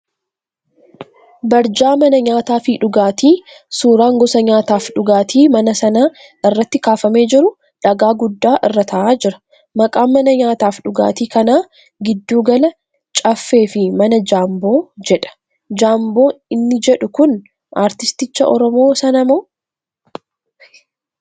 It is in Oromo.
Barjaa mana nyaataa fi dhugaatii suuraan gosa nyaataaf dhugaatii mana sanaa irratti kaafamee jiru dhagaa guddaa irra tahaa jira. Maqaan mana nyaataaf dhugaatii kanaa Giddu Gala 'Caaffee' fi Mana Jaamboo jedha, Jaamboo inni jedhu kun aartisticha Oromoo sanamoo?